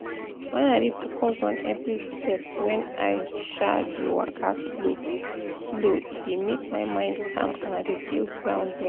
wen i dey focus on every step wen i um dey waka slow-slow e dey make my mind calm and i dey feel grounded